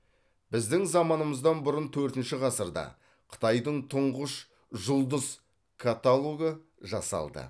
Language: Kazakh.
біздің заманымыздан бұрын төртінші ғасырда қытайдың тұңғыш жұлдыз каталогы жасалды